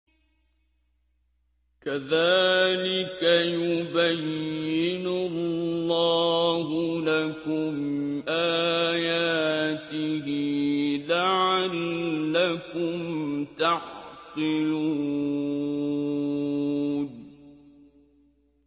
كَذَٰلِكَ يُبَيِّنُ اللَّهُ لَكُمْ آيَاتِهِ لَعَلَّكُمْ تَعْقِلُونَ